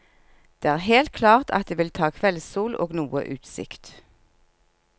Det er helt klart at det vil ta kveldssol og noe utsikt.